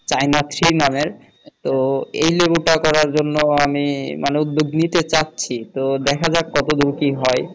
চাইনাকসি নামের তো এই লেবুটি করার জন্য আমি মানে উদ্যেগ নিতে চাচ্ছি তো দেখা যাক কত দূর কি হয়।